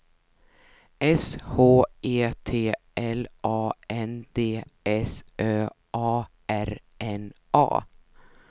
S H E T L A N D S Ö A R N A